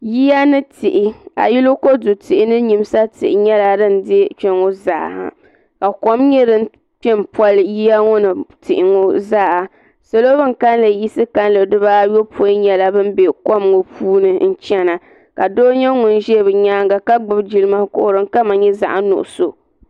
Yiya ni tihi kodu tihi ni nyimsa tihi nyɛla din dee kpeŋɔ zaa ka kom kpe m poli yiya ŋɔ ni tihi ŋɔ zaa salo ban kalli yiɣisi dibaa ayopoin nyɛla bin be kom ŋɔ puuni n chena ka doo nyɛ ŋun ʒɛ bɛ nyaanga jilma kuɣu din kama nyɛ zaɣa nuɣuso.